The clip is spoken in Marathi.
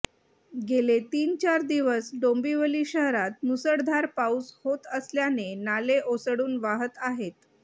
गेले तीन चार दिवस डोंबिवली शहरात मुसळधार पाऊस होत असल्याने नाले ओसंडून वाहत आहेत